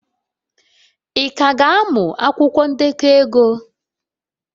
Ị ka ga-amụ akwụkwọ ndekọ ego?